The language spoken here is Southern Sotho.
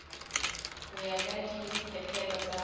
ho ya ka dipehelo tsa